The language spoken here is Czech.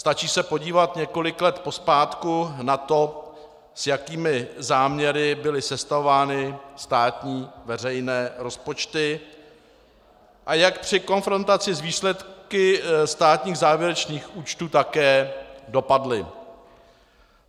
Stačí se podívat několik let pozpátku na to, s jakými záměry byly sestavovány státní veřejné rozpočty a jak při konfrontaci s výsledky státních závěrečných účtů také dopadly.